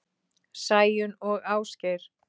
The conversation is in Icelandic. Sæunn og Ásgeir.